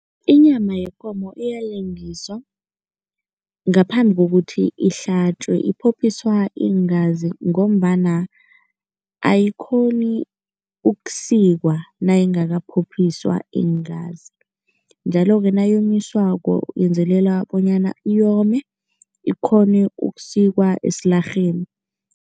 Inyama yekomo iyalengiswa ngaphambi kokuthi ihlatjwe. Iphophiswa iingazi ngombana ayikghoni ukusikwa nayingakaphophiswa iingazi njalo-ke nayonyiswako yenzelela bonyana iyome, ikghone ukusikwa esilarheni.